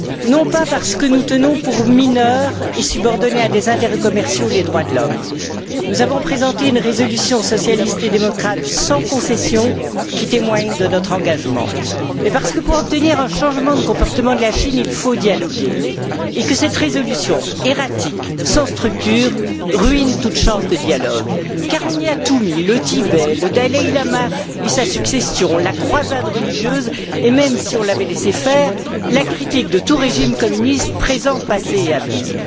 Non pas parce que nous tenons pour mineurs et subordonnés à des intérêts commerciaux les droits de l'homme nous avons présenté une résolution socialiste et démocrate, sans concession, qui témoigne de notre engagement mais parce que, pour obtenir un changement de comportement de la part de la Chine, il faut dialoguer, et que cette résolution, erratique, sans structure, ruine toute chance de dialogue. Car on y a tout mis le Tibet, le dalaï lama et sa succession, la croisade religieuse et même, si on avait laissé faire, la critique de tout régime communiste présent, passé et à venir.